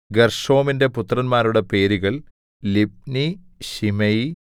ഗെർശോമിന്റെ പുത്രന്മാരുടെ പേരുകൾ Libni Shimei